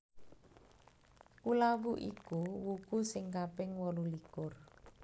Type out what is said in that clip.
Kulawu iku wuku sing kaping wolulikur